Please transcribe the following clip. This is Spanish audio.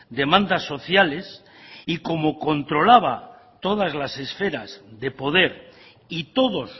demandas sociales y como controlaba todas las esferas de poder y todos